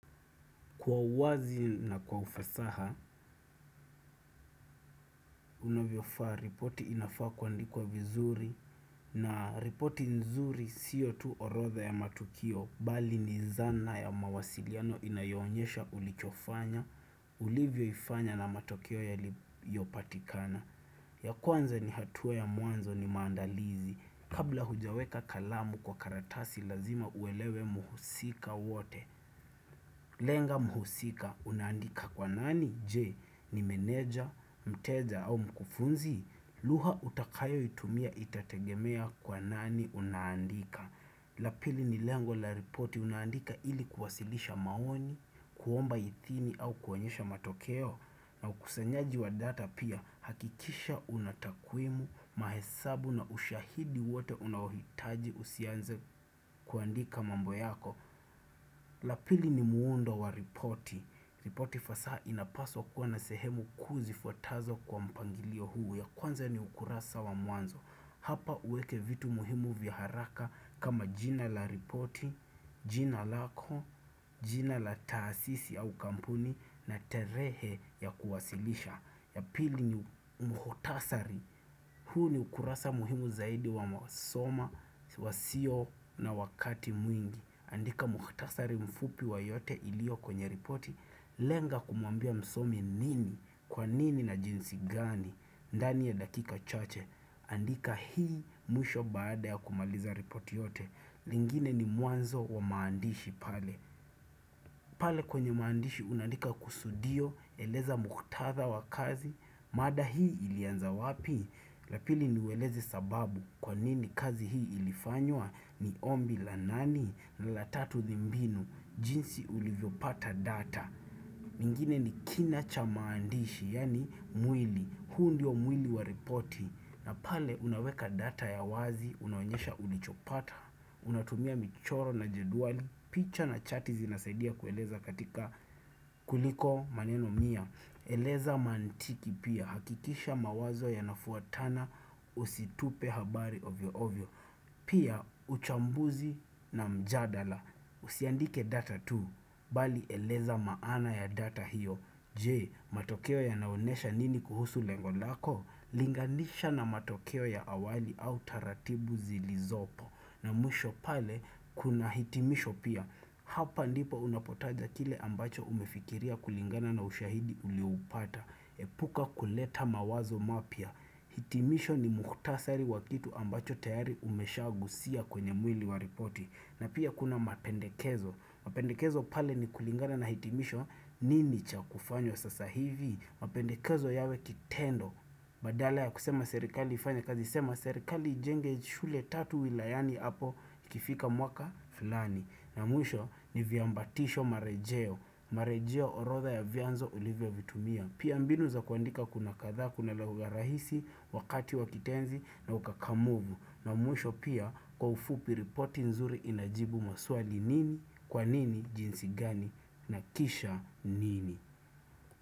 Kwa uwazi na kwa ufasaha, unavyo faa ripoti inafaa kuandikwa vizuri na ripoti nzuri siyo tu orotha ya matukio bali ni zana ya mawasiliano inayoonyesha ulichofanya, ulivyo ifanya na matokeo ya liyopatikana. Ya kwanza ni hatua ya mwanzo ni maandalizi. Kabla hujaweka kalamu kwa karatasi lazima uelewe muhusika wote. Lenga muhusika unaandika kwa nani je ni menedja, mteja au mkufunzi, luha utakayo itumia itategemea kwa nani unandika. Lapili ni lengo la reporti unaandika ili kuwasilisha maoni, kuomba ithini au kuonyesha matokeo na ukusanyaji wa data pia hakikisha unatakwimu, mahesabu na ushahidi wote unaohitaji usianze kuandika mambo yako. La pili ni muundo wa ripoti ripoti fasaha inapaswa kuwa na sehemu kuu zifuatazo kwa mpangilio huu ya kwanza ni ukurasa wa mwanzo Hapa uweke vitu muhimu vya haraka kama jina la ripoti jina lako, jina la taasisi au kampuni na tarehe ya kuwasilisha ya pili ni mkutasari huu ni ukurasa muhimu zaidi wa masoma, wasio na wakati mwingi andika muktasari mfupi wa yote ilio kwenye ripoti lenga kumwambia msomi nini, kwa nini na jinsi gani ndani ya dakika chache andika hii mwisho baada ya kumaliza ripoti yote lingine ni mwanzo wa maandishi pale pale kwenye maandishi unaandika kusudio, eleza muktatha wa kazi mada hii ilianza wapi Lapili niueleze sababu kwa nini kazi hii ilifanywa ni ombi la nani na la tatu dhimbinu jinsi ulivyopata data mingine ni kina cha maandishi Yaani mwili huu ndio mwili wa ripoti na pale unaweka data ya wazi unaonyesha ulichopata Unatumia michoro na jeduali picha na chati zinasaidia kueleza katika kuliko maneno mia Eleza mantiki pia hakikisha mawazo ya nafuatana Usitupe habari ovyo ovyo Pia, uchambuzi na mjadala. Usiandike data tu, bali eleza maana ya data hiyo. Jee, matokeo ya naonesha nini kuhusu lengolako? Linganisha na matokeo ya awali au taratibu zilizopo. Na mwisho pale, kuna hitimisho pia. Hapa ndipo unapotaja kile ambacho umefikiria kulingana na ushahidi ulioupata Epuka kuleta mawazo mapya hitimisho ni muktasari wakitu ambacho tayari umeshagusia kwenye mwili waripoti na pia kuna mapendekezo mapendekezo pale ni kulingana na hitimisho nini cha kufanywa sasa hivi mapendekezo yawe kitendo Badala ya kusema serikali ifanya kazi sema serikali ijenge shule tatu wilayani hapo kifika mwaka flani na mwisho ni viambatisho marejeo. Marejeo orotha ya vyanzo olivyo vitumia. Pia mbinu za kuandika kuna kadhaa, kuna lagu ya rahisi, wakati wakitenzi na ukakamuvu. Na mwisho pia kwa ufupi riporti nzuri inajibu maswali nini, kwa nini, jinsi gani, na kisha nini.